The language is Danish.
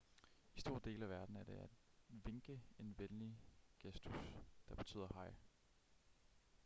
i store dele af verden er det at vinke en venlig gestus der betyder hej